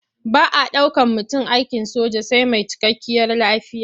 Ba a ɗaukan mutum aikin soja sai mai cikakkiyar lafiya.